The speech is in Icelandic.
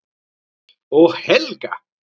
Og Helga!